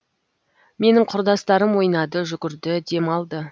менің құрдастарым ойнады жүгірді демалды